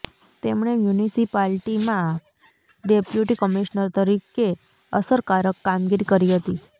તેમણે મ્યુનિસિપાલિટીમાં deputy commissioner તરીકે અસરકારક કામગીરી કરી હતી